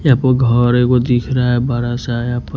यहां पे घर एक गो दिख रहा है बड़ा सा यहां पर--